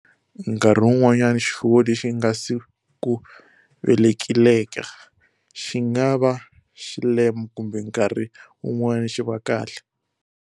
Nkarhi wun'wana xifuwo lexi nga si ku velekileka xi nga va xilema, kumbe nkarhi wun'wana xi va kahle.